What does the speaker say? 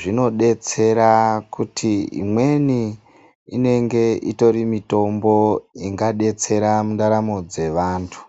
zvinodetsera kuti imweni inenge iri mitombo ingadetsera mundaramo dzevantu.